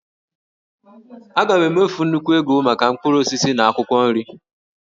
A ga-emefu nnukwu ego maka mkpụrụ osisi na akwụkwọ nri